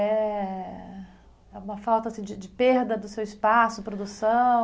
É uma falta assim de de perda do seu espaço, produção?